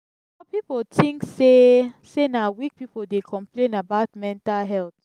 some pipo tink sey sey na weak pipo dey complain about mental health.